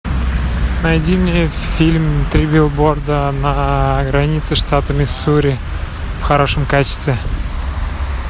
найди мне фильм три билборда на границе штата миссури в хорошем качестве